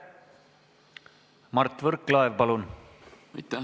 Mart Võrklaev, palun!